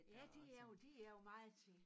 Ja det er jeg jo det jeg jo meget til